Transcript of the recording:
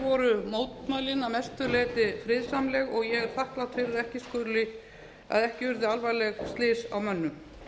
voru mótmælin að mestu leyti friðsamleg og ég er þakklát fyrir að ekki urðu alvarleg slys á mönnum